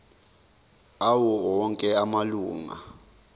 awo onke amalunga